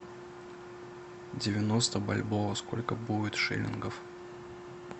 девяносто бальбоа сколько будет шиллингов